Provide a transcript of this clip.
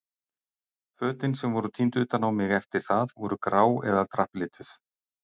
Fötin sem voru tínd utan á mig eftir það voru grá eða drapplituð.